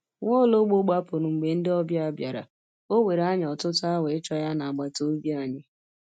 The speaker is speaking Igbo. Nwaologbo gbapụrụ mgbe ndị ọbịa bịara, ọ were anyị ọtụtụ awa ịchọ ya n'agbata obi anyị.